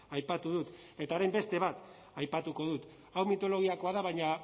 aipatu dut eta orain beste bat aipatuko dut hau mitologiakoa da baina